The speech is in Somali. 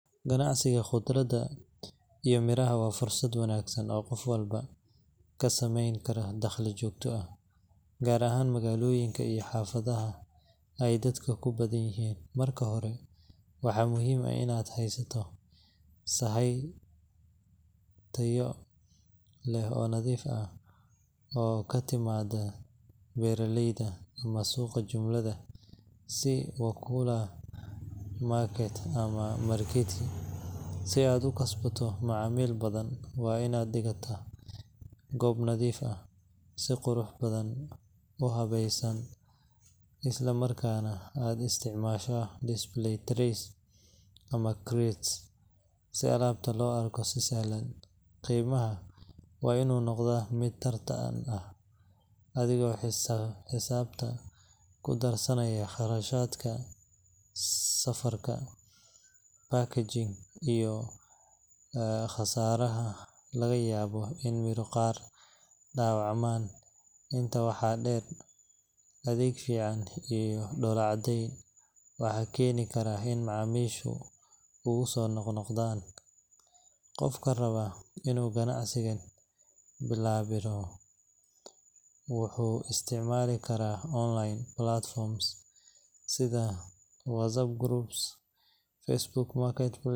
Ganacsiga khudradda iyo miraha waa fursad wanaagsan oo qof walba ka samayn karo dakhli joogto ah, gaar ahaan magaalooyinka iyo xaafadaha ay dadka ku badan yihiin. Marka hore, waxaa muhiim ah in aad haysato sahay tayo leh oo nadiif ah oo ka timaadda beeraley ama suuqa jumlada sida Wakulima Market ama Marikiti. Si aad u kasbato macaamiil badan, waa inaad dhigataa goob nadiif ah, si qurux badan u habaysan, isla markaana aad isticmaashaa display trays ama crates si alaabta loo arko si sahlan. Qiimaha waa inuu noqdaa mid tartan ah, adigoo xisaabta ku darsanaya kharashaadka safarka, packaging, iyo khasaaraha laga yaabo in miro qaar dhaawacmaan. Intaa waxaa dheer, adeeg fiican iyo dhoola-caddeyn waxay keeni karaan in macaamiishu kugu soo noqnoqdaan. Qofka raba inuu ganacsigan ballaariyo wuxuu isticmaali karaa online platforms sida WhatsApp groups, Facebook Marketplace.